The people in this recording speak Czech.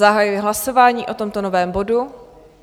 Zahajuji hlasování o tomto novém bodu.